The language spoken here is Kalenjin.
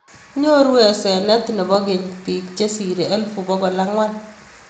Nyoruu aseneet nepoo keny piik chesiree elfut pokol angwan